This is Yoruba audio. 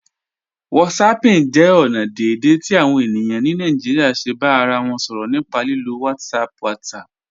Whatsapping jẹ ọna deẹ̀dẹ̀ ti awọn ènìyàn ni Naijíríà ṣè bá ara wọn sọrọ̀ nípà lílò WhatsApp WhatsApp.